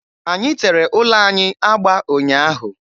Anyị tere ụlọ anyị agba ụnyaahụ.